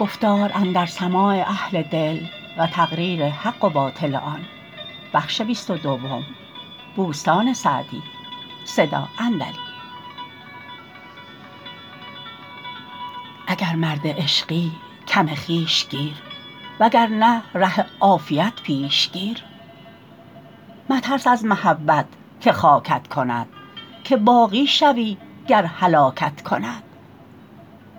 اگر مرد عشقی کم خویش گیر و گر نه ره عافیت پیش گیر مترس از محبت که خاکت کند که باقی شوی گر هلاکت کند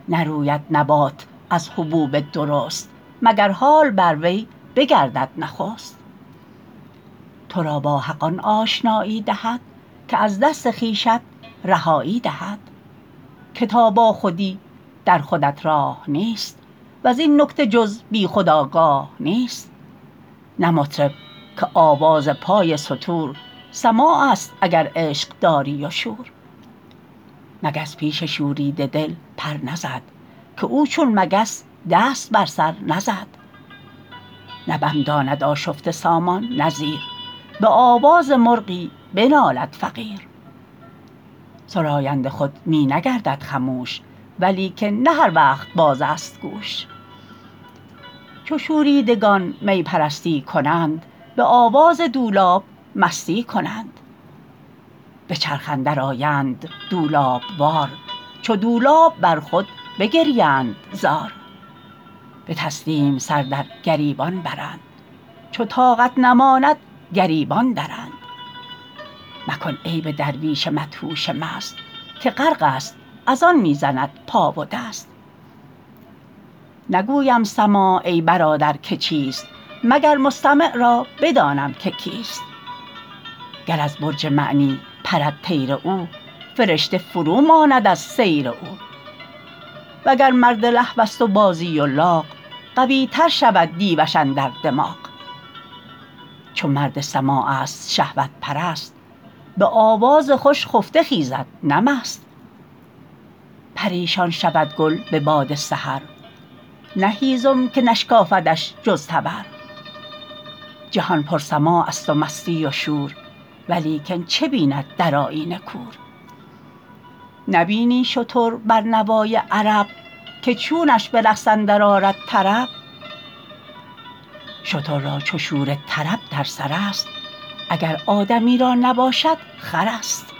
نروید نبات از حبوب درست مگر حال بر وی بگردد نخست تو را با حق آن آشنایی دهد که از دست خویشت رهایی دهد که تا با خودی در خودت راه نیست وز این نکته جز بی خود آگاه نیست نه مطرب که آواز پای ستور سماع است اگر عشق داری و شور مگس پیش شوریده دل پر نزد که او چون مگس دست بر سر نزد نه بم داند آشفته سامان نه زیر به آواز مرغی بنالد فقیر سراینده خود می نگردد خموش ولیکن نه هر وقت باز است گوش چو شوریدگان می پرستی کنند به آواز دولاب مستی کنند به چرخ اندر آیند دولاب وار چو دولاب بر خود بگریند زار به تسلیم سر در گریبان برند چو طاقت نماند گریبان درند مکن عیب درویش مدهوش مست که غرق است از آن می زند پا و دست نگویم سماع ای برادر که چیست مگر مستمع را بدانم که کیست گر از برج معنی پرد طیر او فرشته فرو ماند از سیر او وگر مرد لهو است و بازی و لاغ قوی تر شود دیوش اندر دماغ چو مرد سماع است شهوت پرست به آواز خوش خفته خیزد نه مست پریشان شود گل به باد سحر نه هیزم که نشکافدش جز تبر جهان پر سماع است و مستی و شور ولیکن چه بیند در آیینه کور نبینی شتر بر نوای عرب که چونش به رقص اندر آرد طرب شتر را چو شور طرب در سر است اگر آدمی را نباشد خر است